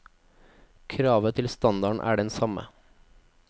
Kravet til standarden er den samme.